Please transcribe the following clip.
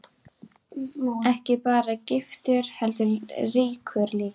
Ekki bara giftur heldur ríkur líka.